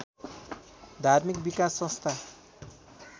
धार्मिक विकास संस्था